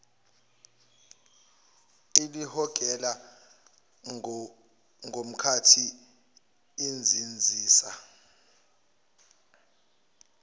elihogela ngomkhathi izinzisa